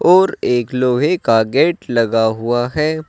और एक लोहे का गेट लगा हुआ है।